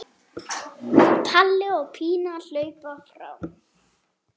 Palli og Pína hlaupa fram.